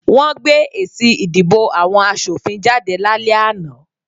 Wọ́n gbé èsì ìdìbò àwọn asòfin jáde lálẹ́ àná